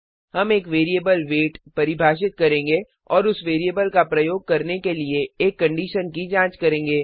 हम एक variable wait परिभाषित करेंगे और उस वैरिएबल का प्रयोग करने के लिए एक कंडीशन की जांच करेंगे